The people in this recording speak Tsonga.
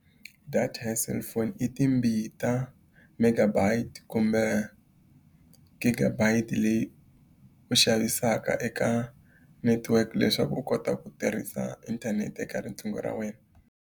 Data ya cellphone i timbita megabytes kumbe gigabytes leyi u xavisaka eka network leswaku u kota ku tirhisa inthanete ka riqingho ra wena.